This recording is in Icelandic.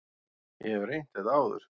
Ég hef reynt þetta áður.